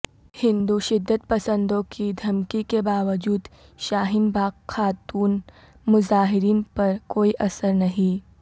ہندو شدت پسندوں کی دھمکی کے باوجود شاہین باغ خاتون مظاہرین پر کوئی اثر نہیں